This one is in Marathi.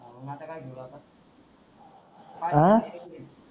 अ